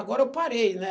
Agora eu parei, né?